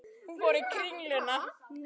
Hafið þið pælt í því?